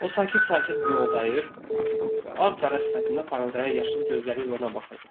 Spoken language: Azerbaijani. O sakit-sakit mioldayır və ağ-qara sifətində parıldayan yaşıl gözləri ilə ona baxırdı.